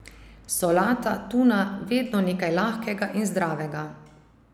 Solata, tuna, vedno nekaj lahkega in zdravega.